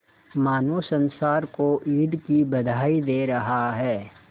मानो संसार को ईद की बधाई दे रहा है